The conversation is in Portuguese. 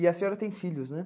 E a senhora tem filhos, né?